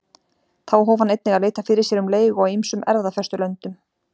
Þá hóf hann einnig að leita fyrir sér um leigu á ýmsum erfðafestulöndum.